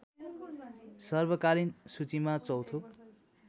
सर्वकालीन सूचीमा चौथो